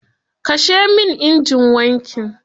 Kashe min injin wankin.